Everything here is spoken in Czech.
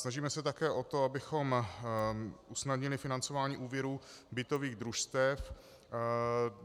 Snažíme se také o to, abychom usnadnili financování úvěrů bytových družstev.